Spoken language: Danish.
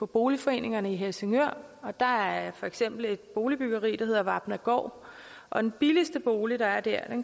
boligforeningerne i helsingør der er for eksempel et boligbyggeri der hedder vapnagaard og den billigste bolig der er der